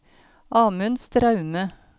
Amund Straume